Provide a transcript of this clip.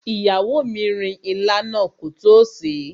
Ìyàwó mi rin ilá náà kótó sèé.